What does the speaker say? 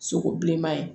Sogo bilenman ye